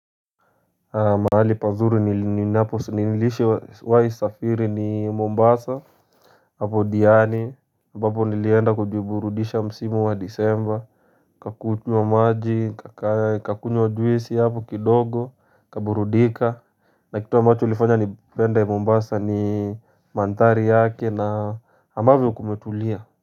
Mahali pazuri nilishiwahi safiri ni Mombasa apo diani ambapo nilienda kujiburudisha msimu wa disemba nikakunywa maji nikakunywa juisi hapo kidogo nikaburudika na kitu ambacho ulifanya nipende Mombasa ni mandhari yake na ambavyo kumetulia.